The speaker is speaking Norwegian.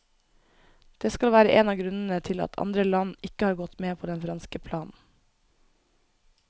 Det skal være en av grunnene til at andre land ikke har gått med på den franske planen.